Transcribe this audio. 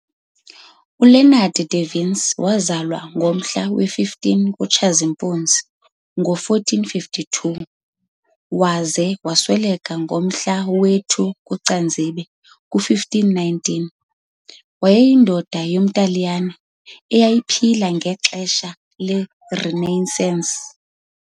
ULeonardo da Vinci wazalwa ngomhla we-15 kuTshazimpuzi ngo1452 - waze wasweleka ngomhla wesi-2 kuCanzibe ku1519, wayeyindoda yomTaliyane owayephila ngexesha leRenaissance.